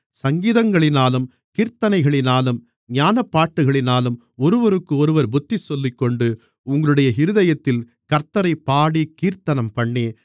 சங்கீதங்களினாலும் கீர்த்தனைகளினாலும் ஞானப்பாட்டுகளினாலும் ஒருவருக்கொருவர் புத்திசொல்லிக்கொண்டு உங்களுடைய இருதயத்தில் கர்த்த்தரைப் பாடிக் கீர்த்தனம்பண்ணி